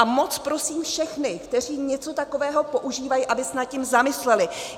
A moc prosím všechny, kteří něco takového používají, aby se nad tím zamysleli.